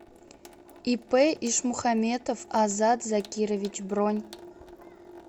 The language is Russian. ип ишмухаметов азат закирович бронь